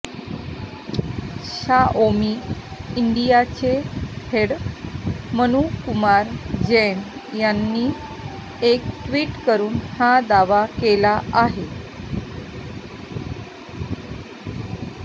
Xiaomi इंडियाचे head Manu Kumar Jain यांनी एक ट्विट करून हा दावा केला आहे